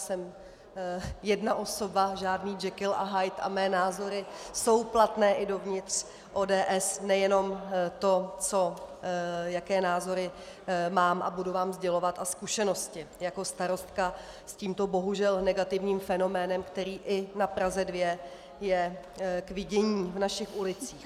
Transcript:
Jsem jedna osoba, žádný Jekyll a Hyde, a mé názory jsou platné i dovnitř ODS, nejenom to, jaké názory mám a budu vám sdělovat, a zkušenosti jako starostka s tímto bohužel negativním fenoménem, který i na Praze 2 je k vidění v našich ulicích.